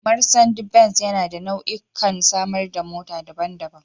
Marsandi benz yana da nau'ikan samar da mota daban-daban.